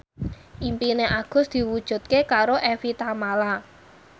impine Agus diwujudke karo Evie Tamala